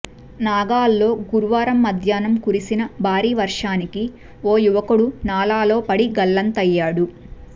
నాగాల్లో గురువారం మధ్యాహ్నం కురిసిన భారీ వర్షానికి ఓ యువకుడు నాలాలో పడి గల్లంతయ్యాడు